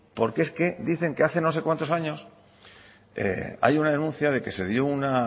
porque es que dicen que hace no sé cuántos años hay una denuncia de que se dio una